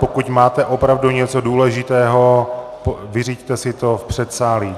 Pokud máte opravdu něco důležitého, vyřiďte si to v předsálí.